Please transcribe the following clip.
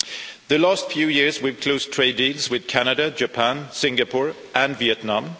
In the last few years, we have closed trade deals with Canada, Japan, Singapore and Vietnam.